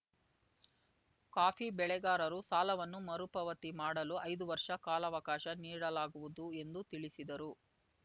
coffee ಬೆಳೆಗಾರರು ಸಾಲವನ್ನು ಮರುಪಾವತಿ ಮಾಡಲು ಐದು ವರ್ಷ ಕಾಲಾವಕಾಶ ನೀಡಲಾಗುವುದು ಎಂದು ತಿಳಿಸಿದರು